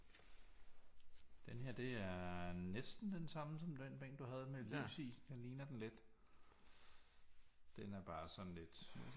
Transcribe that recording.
Denne her det er næsten den samme som den bænk du havde med lys i den ligner den lidt den er bare sådan lidt